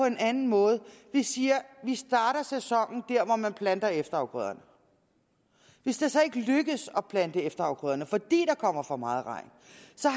en anden måde vi siger at vi starter sæsonen der hvor man planter efterafgrøderne hvis det så ikke lykkes at plante efterafgrøderne fordi der kommer for meget regn